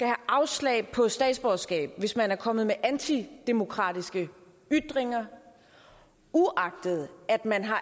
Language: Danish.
afslag på statsborgerskab hvis man er kommet med antidemokratiske ytringer uagtet at man har